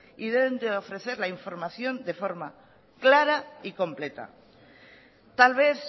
y deben de ofrecer la información de forma clara y completa tal vez